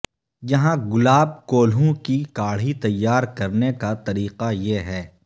یہاں گلاب کولہوں کی کاڑھی تیار کرنے کا طریقہ یہ ہے